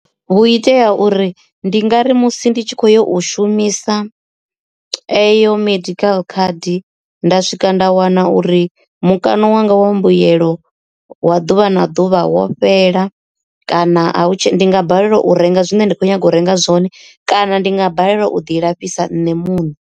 Vhu itea uri ndi ngari musi ndi tshi kho yo u shumisa eyo medical card nda swika nda wana uri mukano wanga wa mbuyelo wa ḓuvha na ḓuvha wo fhela kana a nga balelwa u renga zwine nda kho nyaga u renga zwone kana ndi nga balelwa u ḓi lafhisa nṋe muṋe.